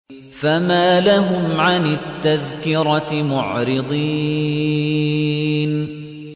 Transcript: فَمَا لَهُمْ عَنِ التَّذْكِرَةِ مُعْرِضِينَ